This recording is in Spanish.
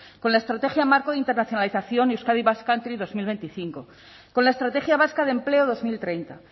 con la estrategia marco de internacionalización euskadi basque country dos mil veinticinco con la estrategia vasca de empleo dos mil treinta